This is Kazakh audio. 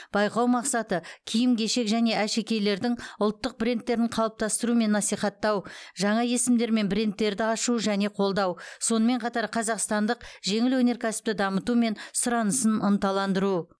байқау мақсаты киім кешек және әшекейлердің ұлттық брендтерін қалыптастыру мен насихаттау жаңа есімдер мен брендтерді ашу және қолдау сонымен қатар қазақстандық жеңіл өнеркәсіпті дамыту мен сұранысын ынталандыру